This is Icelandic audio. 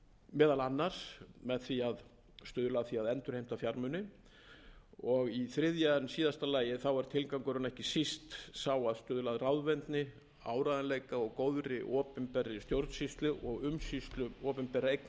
meðal annars með því að stuðla að því að endurheimta fjármuni í þriðja en síðasta lagi er tilgangurinn ekki síst sá að stuðla að ráðvendni áreiðanleika og góðri opinberri stjórnsýslu og umsýslu opinberra eigna